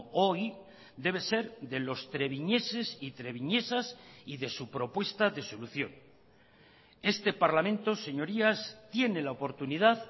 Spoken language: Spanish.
hoy debe ser de los treviñeses y treviñesas y de su propuesta de solución este parlamento señorías tiene la oportunidad